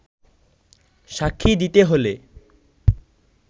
সাক্ষী দিতে হলে